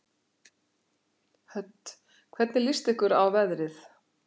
Hödd: Hvernig líst ykkur á veðrið?